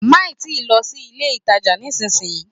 Má ì tíì lọ sí ilé-ìtàjà nísìnyí